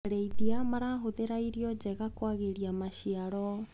Arĩithia marahũthĩra irio njega kwagĩria maciaro.